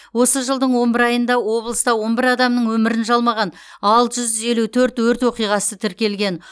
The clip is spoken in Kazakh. осы жылдың он бір айында облыста он бір адамның өмірін жалмаған алты жүз елу төрт өрт оқиғасы тіркелген